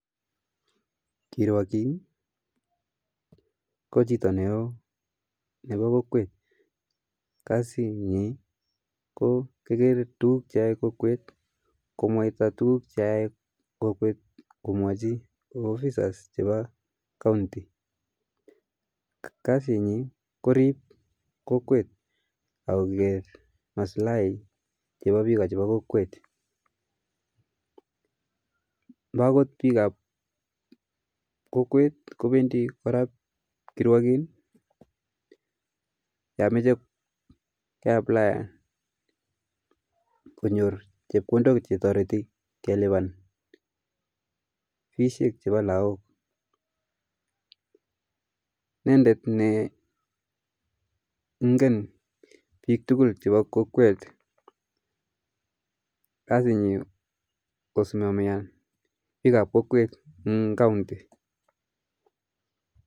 Kirwakin ko chito ne oo nepo kokwet, kasi nyi ko koker tukuk che ae kokwet, komwata tukuk che ae kokwet komwachi officers chepa kaunti ,kasi nyi korip kokwet akoker maslai chepa biko chepo kokwet, mbakot biko ap kokwet kopendii korap kirwakin yameche koaplayan konyor chepkondok chetoriti kolipa fishek che pa lakok, inende ne ngen bik tukul che pa kokwet, kasi nyi kosimamian bik ap kokwet eng kaunti